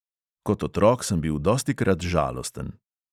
Kot otrok sem bil dostikrat žalosten.